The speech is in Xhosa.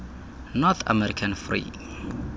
north american free